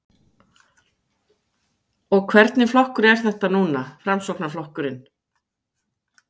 Mikael Torfason: Og hvernig flokkur er þetta núna, Framsóknarflokkurinn?